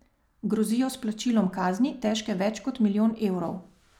Grozijo s plačilom kazni, težke več kot milijon evrov.